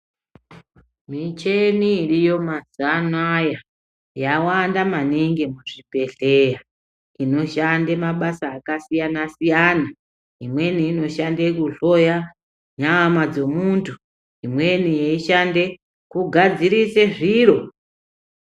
Micheni iriyo mazuva anaya yawanda maningi muzvibhedhleya inoshande mabasa akasiyana-siyana , imweni inoshande kuhloya nyama dzovantu , imweni yeishande kugadzirise zviro.